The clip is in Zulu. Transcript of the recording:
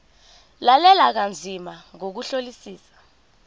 lalela kanzima ngokuhlolisisa